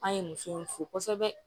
An ye musow fo kosɛbɛ